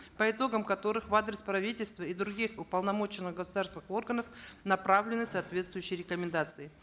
по итогам которых в адрес правительства и других уполномоченных государственных органов направлены соответствующие рекомендации